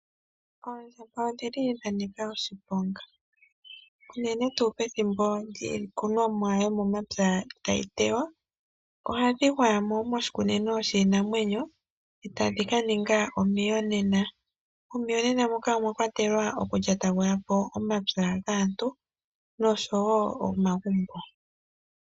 Oondjamba odhili dhanika oshiponga. Unene tuu pethimbo lyiikunomwa momapya tayi munwa, ohadhi gwayamo moshikunino shiinamwenyo, etadhi kaninga omiyonena. Momiyonena moka omwakwatelwa oku yonagulapo omapya gaantu, noshowo omagumbo.